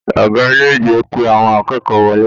Ọgá ilé ìgbé pé àwọn akẹ́kọ̀ọ́ wọlé.